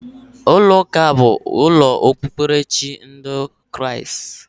Ulo uka bu ulo okpukperechi ndi Kriast